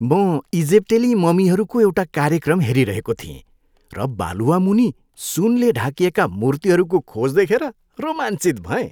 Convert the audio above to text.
म इजिप्टेली ममीहरूको एउटा कार्यक्रम हेरिरहेको थिएँ र बालुवा मुनि सुनले ढाकिएका मूर्तिहरूको खोज देखेर रोमाञ्चित भएँ।